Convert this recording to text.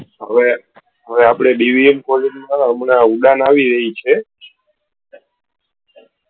હવે હવે આપણે BVMcollege ઉડાન આવી રહી છે